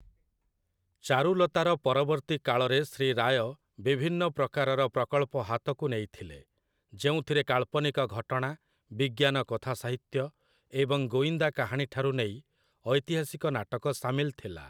ଚାରୁଲତା'ର ପରବର୍ତ୍ତୀ କାଳରେ ଶ୍ରୀ ରାୟ ବିଭିନ୍ନ ପ୍ରକାରର ପ୍ରକଳ୍ପ ହାତକୁ ନେଇଥିଲେ, ଯେଉଁଥିରେ କାଳ୍ପନିକ ଘଟଣା, ବିଜ୍ଞାନ କଥାସାହିତ୍ୟ ଏବଂ ଗୋଇନ୍ଦା କାହାଣୀଠାରୁ ନେଇ ଐତିହାସିକ ନାଟକ ସାମିଲ ଥିଲା ।